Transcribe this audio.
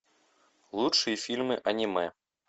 лучшие фильмы аниме